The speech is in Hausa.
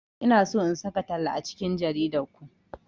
Ina so in saka talla a cikin jaridar ku.